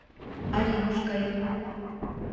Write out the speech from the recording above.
аринушкой